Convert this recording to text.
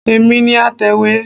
Èmi ni atẹ̀wé